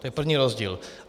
To je první rozdíl.